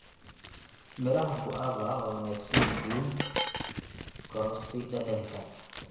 Midhaha guava waa wanaagsan yihiin korodhsi dhadhanka.